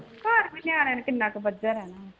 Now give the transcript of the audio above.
ਹੋਰ ਵੀ ਨਿਆਣਿਆਂ ਨੂੰ ਕਿੰਨਾ ਕੁ ਬੱਝਾ ਰਹਿਣਾ।